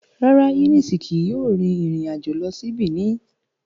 Rara, Eunice kii yoo rin irin ajo lọ si Benin